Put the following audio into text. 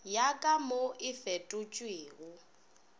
ya ka mo e fetotšwego